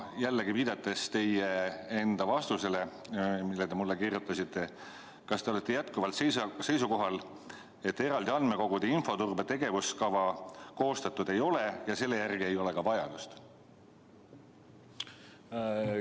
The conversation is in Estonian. Jällegi, viidates teie enda vastusele, mille te mulle kirjutasite, kas te olete jätkuvalt seisukohal, et eraldi andmekogude infoturbetegevuskava koostatud ei ole ja selle järele ei ole ka vajadust?